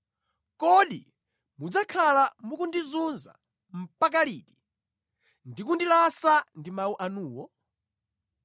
“Kodi mudzakhala mukundizunza mpaka liti, ndi kundilasa ndi mawu anuwo?